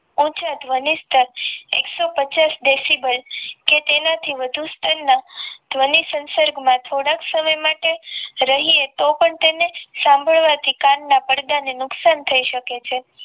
ઉંચા ધ્વનિસ્તંભ એક સો પચાસ ડેસીબલ કે તેનાથી વધુ સ્થર ના ધ્વનિ સંસર્ગ માં થોડાક સમય માટે રહીએ તો પણ તેને સાંભળવાથી કાનના પડદા ને નુકસાન થઈ શકે છે